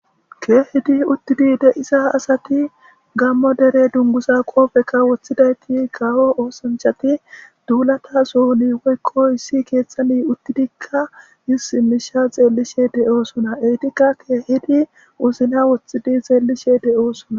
Keehidi uttidi de7isa asati gammo dere dungusa qoofekka woththidayti gawo oosanchati duulata sohuni woykkoy issi keethxani uttidikka yis simisha xeellishe de7oosona eytikka keehidi uzina woththidi xeellishe de7osona.